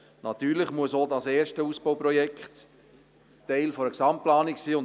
Natürlich muss auch das erste Ausbauprojekt Teil einer Gesamtplanung sein.